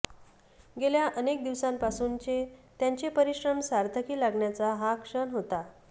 गेल्या अनेक दिवसांपासूनचे त्यांचे परिश्रम सार्थकी लागण्याचा हा क्षण होता